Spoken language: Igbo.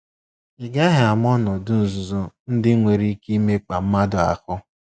Ị gaghị ama ọnọdụ nzuzo ndị nwere ike imekpa mmadụ ahụ.